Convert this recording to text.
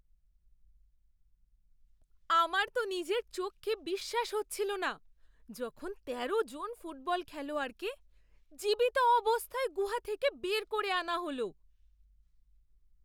আমার তো নিজের চোখকে বিশ্বাস হচ্ছিল না যখন তেরো জন ফুটবল খেলোয়াড়কে জীবিত অবস্থায় গুহা থেকে বের করে আনা হল!